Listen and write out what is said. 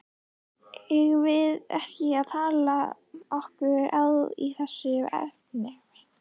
Eigum við ekki að taka okkur á í þessum efnum?